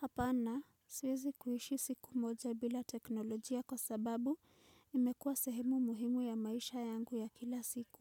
Hapana, siwezi kuishi siku moja bila teknolojia kwa sababu imekua sehemu muhimu ya maisha yangu ya kila siku.